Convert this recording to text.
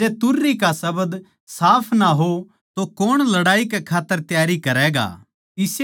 अर जै तुरही का शब्द साफ ना हो तो कौण लड़ाई कै खात्तर त्यारी करैगा